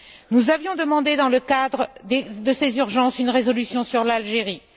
Nous avions demandé, dans le cadre de ces urgences, une résolution sur l'Algérie.